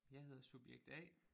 Jeg hedder subjekt A